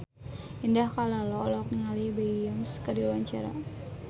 Indah Kalalo olohok ningali Beyonce keur diwawancara